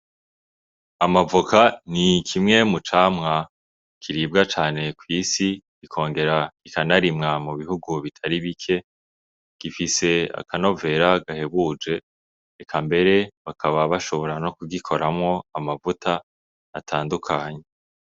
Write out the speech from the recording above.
Amavoka ni kimwe mu camwa kiribwa cane kw'isi, ikongera ikanarimwa mu bihugu bitari bike. Gifise akanovera gahebuje. Eka mbere bakaba bashobora no kugikoramwo amavuta atandukanye.